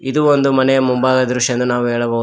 ಇದು ಒಂದು ಮನೆಯ ಮುಂಭಾಗದ ದೃಶ್ಯ ಎಂದು ನಾವು ಹೇಳಬಹು.